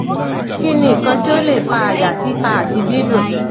kini nkan ti o le fa aya tita ati didun